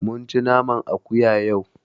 Mun ci naman akuya yau.